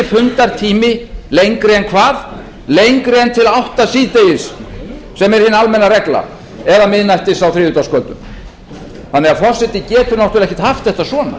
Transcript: fundartími lengri en hvað lengri en til átta síðdegis sem er hin almenna regla eða miðnættis á þriðjudagskvöldum þannig að forseti getur ekki haft þetta svona